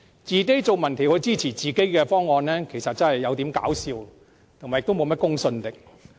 自己進行民調支持自己的方案，實在太搞笑，也欠奉公信力。